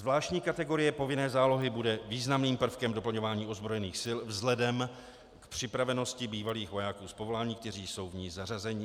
Zvláštní kategorie povinné zálohy bude významným prvkem doplňování ozbrojených sil vzhledem k připravenosti bývalých vojáků z povolání, kteří jsou v ní zařazeni.